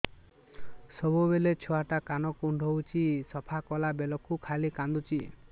ସବୁବେଳେ ଛୁଆ ଟା କାନ କୁଣ୍ଡଉଚି ସଫା କଲା ବେଳକୁ ଖାଲି କାନ୍ଦୁଚି